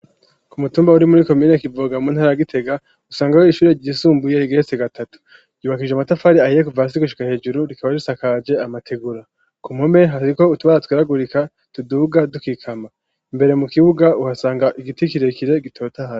Ku mutumba uri muri komine ya Kivoga mu ntara ya Gitega usangaho ishuri ryisumbuye rigeretse gatatu, ryubakishije amatafari ahiye kuva hasi gushika hejuru rikaba risakaje amategura, ku mpome hasizeko utubara twirabagurika tuduga dukikama, imbere mu kibuga uhasanga igiti kirekire gitotahaye.